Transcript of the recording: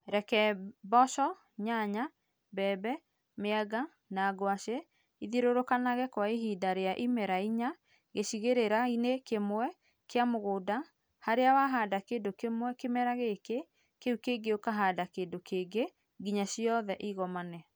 Reke mboco, nyanya, mbembe, mĩanga na ngwacĩ ithiũrũrũkanage kwa ihinda rĩa imera inya gĩcigĩrĩra-inĩ kĩmwe kĩa mũgũnda harĩa wahanda kĩndũ kĩmwe kĩmera gĩkĩ kĩu kĩngĩ ũkahanda kĩndũ kĩngĩ nginya ciothe ikomane.